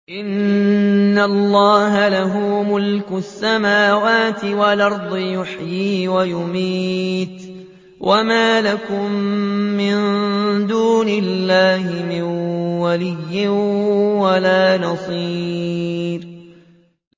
إِنَّ اللَّهَ لَهُ مُلْكُ السَّمَاوَاتِ وَالْأَرْضِ ۖ يُحْيِي وَيُمِيتُ ۚ وَمَا لَكُم مِّن دُونِ اللَّهِ مِن وَلِيٍّ وَلَا نَصِيرٍ